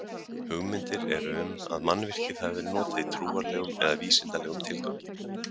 Hugmyndir eru um að mannvirkið hafi verið notað í trúarlegum eða vísindalegum tilgangi.